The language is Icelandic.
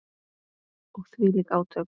Og þvílík átök.